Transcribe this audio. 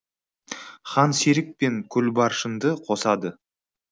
хан серік пен гүлбаршынды қосады